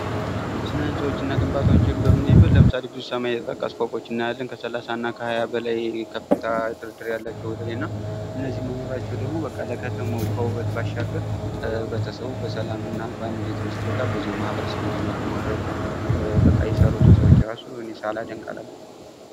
በስነ ህንፃዎችና ግንባታዎች በምናይበት ብዙ ሰማይ ጥቅሶች እናያለን። ከሰለሳና ከሃያ በላይ ከፍታ ድርድር ያላቸው ወደላይ መኖራቸው ለከተማው ከውበት ባሻገር ህብረተሰቡ በሰላምና በአንዲት ትንሽ ቦታ ብዙ ማሕበረሰብ እንዲኖር በማድረጉ በቃ የሠሩትን ሰዎች ሳላደንቅ አላልፍም።